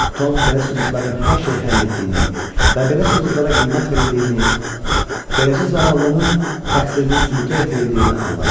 Tom belə sübutların hər şeyi həll etdiyini və belə sübutlara qiymət verildiyini, beləcə zavallının təqsirinin sübuta yetirildiyini anladı.